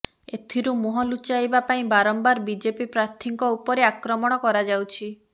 ଏଥିରୁ ମୁହଁ ଲୁଚାଇବା ପାଇଁ ବାରମ୍ବାର ବିଜେପି ପ୍ରାର୍ଥୀଙ୍କ ଉପରେ ଆକ୍ରମଣ କରାଯାଉଛି